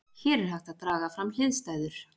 hér er hægt að draga fram hliðstæður